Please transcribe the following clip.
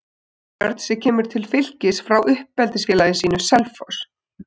Viðar Örn sem kemur til Fylkis frá uppeldisfélagi sínu, Selfoss.